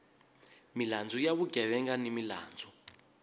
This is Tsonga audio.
milandzu ya vugevenga ni milandzu